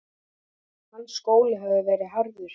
Hans skóli hafði verið harður.